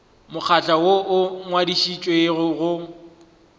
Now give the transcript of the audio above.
mokgatlo woo o ngwadišitšwego go